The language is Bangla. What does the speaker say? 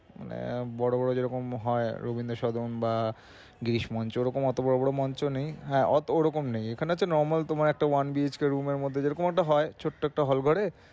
মানে বড় বড় যেরকম হয় রবীন্দ্রস্মরন বা গ্রিশমঞ্চ ওরকম ওতো বড় বড় মঞ্চ নেই হ্যাঁ ওরকম নেই। ওখানে তো normal তোমার একটা one room এর মধ্যে যেরকম একটা হয় ছোট্টো একটা hall ঘরে